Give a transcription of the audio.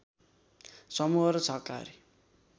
समूह र सहकारी